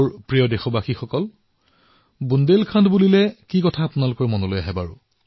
মোৰ মৰমৰ দেশবাসীসকল যদি মই আপোনালোকৰ বুন্দেলখণ্ডৰ বিষয়ে কও তেনেহলে কোনটো কথা আপোনালোকৰ মনলৈ আহে